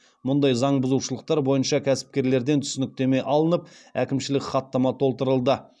мұндай заң бұзушылықтар бойынша кәсіпкерлерден түсініктеме алынып әкімшілік хаттама толтырылды